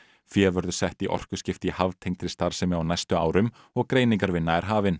fé verður sett í orkuskipti í haftengdri starfsemi á næstu árum og greiningarvinna er hafin